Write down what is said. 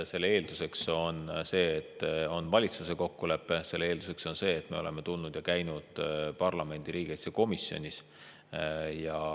Eelduseks on see, et on valitsuse kokkulepe, mille eelduseks on see, et me oleme kohale tulnud ja käinud parlamendi riigikaitsekomisjonis.